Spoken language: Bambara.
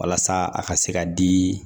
Walasa a ka se ka di